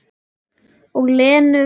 Og Lenu.